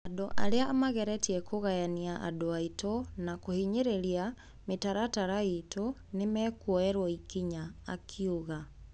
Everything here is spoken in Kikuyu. Andũ aria mageretie kugayania andũ aitũ na kuhinyiria mitaratara itũ nimekuoyeruo ikinya,"akiuga.